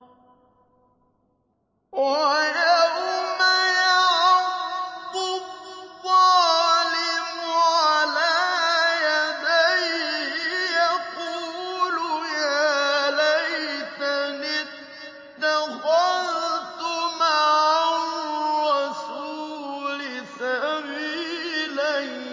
وَيَوْمَ يَعَضُّ الظَّالِمُ عَلَىٰ يَدَيْهِ يَقُولُ يَا لَيْتَنِي اتَّخَذْتُ مَعَ الرَّسُولِ سَبِيلًا